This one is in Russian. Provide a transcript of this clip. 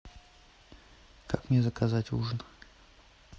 как мне заказать ужин